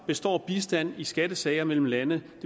består bistand i skattesager mellem landene